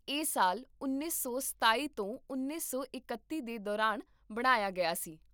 ਇਹ ਸਾਲ ਉੱਨੀ ਸੌ ਸਤਾਈ ਤੋਂ ਉੱਨੀ ਸੌ ਇਕੱਤੀ ਦੇ ਦੌਰਾਨ ਬਣਾਇਆ ਗਿਆ ਸੀ